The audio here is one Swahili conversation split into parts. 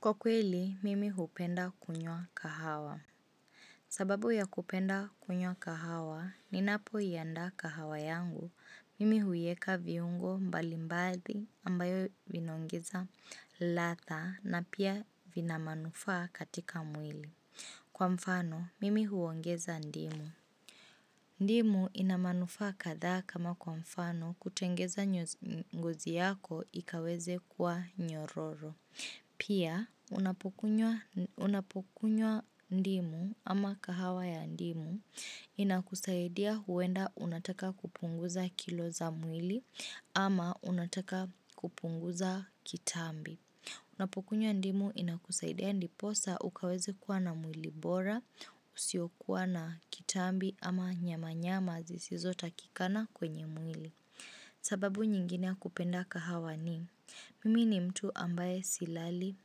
Kwa kweli, mimi hupenda kunywa kahawa. Sababu ya kupenda kunywa kahawa, ninapoiandaa kahawa yangu, mimi huieka viungo mbalimbadhi ambayo vinaongeza ladha na pia vina manufaa katika mwili. Kwa mfano, mimi huongeza ndimu. Ndimu ina manufaa kadhaa kama kwa mfano kutengeneza ngozi yako ikaweze kuwa nyororo. Pia, unapokunywa ndimu ama kahawa ya ndimu inakusaidia huwenda unataka kupunguza kilo za mwili ama unataka kupunguza kitambi. Unapokunywa ndimu inakusaidia ndiposa ukaweze kuwa na mwili bora, usiokuwa na kitambi ama nyamanyama zisizo takikana kwenye mwili. Sababu nyingine ya kupenda kahawa ni, mimi ni mtu ambaye silali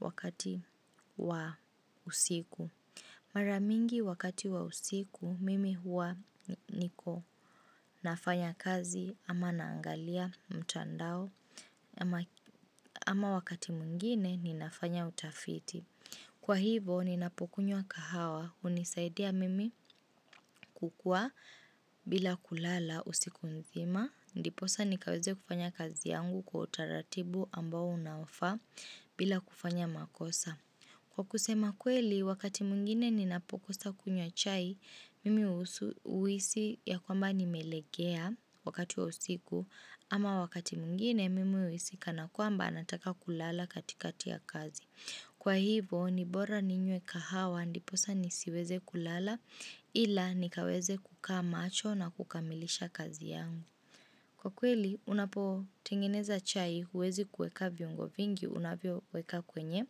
wakati wa usiku. Mara mingi wakati wa usiku, mimi huwa niko nafanya kazi ama naangalia mtandao ama wakati mwingine ninafanya utafiti. Kwa hivo, ninapokunywa kahawa hunisaidia mimi kukuwa bila kulala usiku nzima. Ndiposa nikaweze kufanya kazi yangu kwa utaratibu ambao unaofaa bila kufanya makosa. Kwa kusema kweli, wakati mwingine ninapokosa kunywa chai, mimi uhisi ya kwamba nimelegea wakati wa usiku, ama wakati mwingine mimi uhisi kana kwamba nataka kulala katikati ya kazi. Kwa hivo, ni bora ninywe kahawa ndiposa nisiweze kulala ila nikaweze kukaa macho na kukamilisha kazi yangu. Kwa kweli, unapotengeneza chai huwezi kuweka viungo vingi unavyoweka kwenye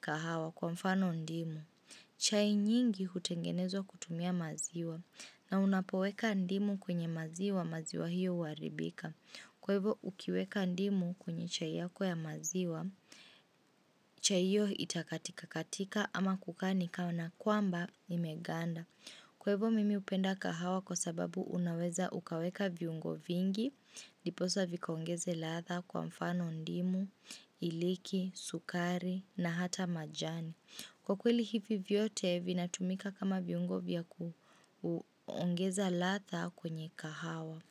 kahawa kwa mfano ndimu. Chai nyingi hutengenezwa kutumia maziwa na unapo weka ndimu kwenye maziwa maziwa hiyo huaribika. Kwa hivo ukiweka ndimu kwenye chai yako ya maziwa, chai hiyo itakatika katika ama kukaa ni kana kwamba imeganda. Kwa hivo mimi hupenda kahawa kwa sababu unaweza ukaweka viungo vingi, ndiposa vikaongeze ladha kwa mfano ndimu, iliki, sukari na hata majani. Kwa kweli hivi vyote vinatumika kama viungo vya kuongeza ladha kwenye kahawa.